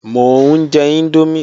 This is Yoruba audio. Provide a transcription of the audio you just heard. Mò ń jẹ índómì